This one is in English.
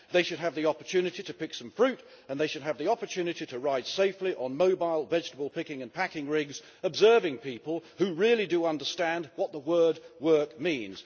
They should have the opportunity to pick some fruit and they should have the opportunity to ride safely on mobile vegetable picking and packing rigs, observing people who really do understand what the word work' means.